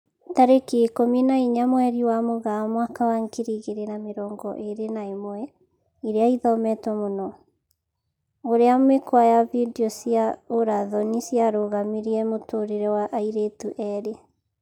Tarĩki ikũmi na inya mweri wa Mũgaa mwaka wa ngiri igĩri na mĩrongo ĩri na ĩmwe, ĩria ĩthometwo mũno: ũrĩa mĩkwa ya video cia ũra thoni ciarũgamirie mũtũrĩre wa airĩtu erĩ